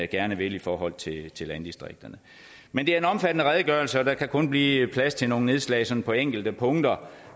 gerne vil i forhold til til landdistrikterne men det er en omfattende redegørelse og der kan kun blive plads til nogle nedslag sådan på enkelte punkter